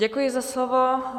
Děkuji za slovo.